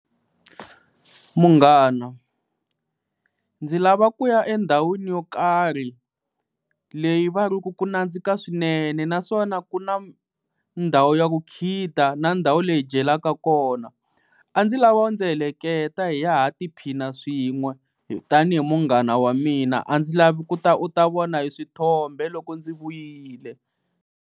Munghana, ndzi lava ku ya endhawini yo karhi leyi va ri ku ku nandzika swinene naswona ku na ndhawu ya ku khida na ndhawu leyi hi dyelaka kona, a ndzi lava u ndzi heleketa hi ya ha tiphina swin'we tanihi munghana wa mina a ndzi lavi ku ta u ta vona hi swithombe loko ndzi vuyile.